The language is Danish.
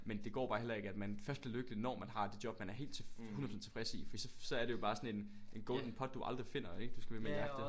Men det går bare heller ikke at man først er lykkelig når man har det job man er helt 100% tilfreds i fordi så er det jo bare sådan en en golden pot du aldrig finder ikke som du skal blive ved med at jagte